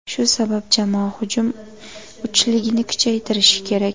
Shu sabab jamoa hujum uchligini kuchaytirishi kerak.